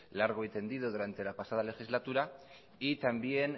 largo y tendido durante la pasada legislatura y también